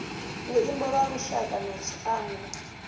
luimbo lwa lushaka na tshiangu